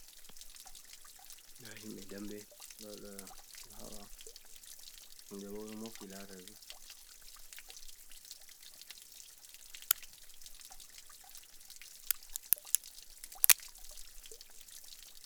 Nda himɓe dambe, ɓeɗo haɓa, himɓe boo ɗo mofti lara ɓe.